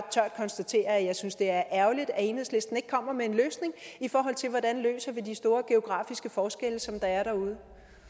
konstatere at jeg synes det er ærgerligt at enhedslisten ikke kommer med en løsning i forhold til hvordan vi løser de store geografiske forskelle som der er derude